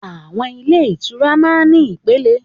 Àwọn ilé ìtura máa ń ní ìpẹlẹ.